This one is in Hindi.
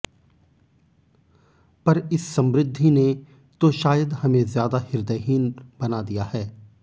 पर इस समृद्धि ने तो शायद हमें ज़्यादा हृदयहीन बना दिया है